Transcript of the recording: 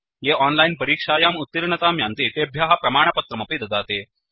ये ओनलाइन् परीक्षायां उत्तीर्णतां यान्ति तेभ्यः प्रमाणपत्रमपि ददाति